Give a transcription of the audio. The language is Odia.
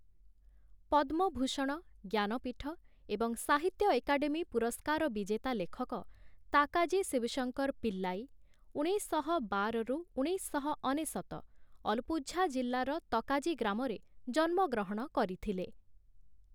ପଦ୍ମଭୂଷଣ, ଜ୍ଞାନପୀଠ ଏବଂ ସାହିତ୍ୟ ଏକାଡେମୀ ପୁରସ୍କାର ବିଜେତା ଲେଖକ, ତାକାଜି ଶିବଶଙ୍କର ପିଲ୍ଲାଇ (ଉଣେଇଶଶହ ବାର - ଉଣେଇଶଶହ ଅନେଶତ), ଅଲପୁଝା ଜିଲ୍ଲାର ତକାଜି ଗ୍ରାମରେ ଜନ୍ମ ଗ୍ରହଣ କରିଥିଲେ ।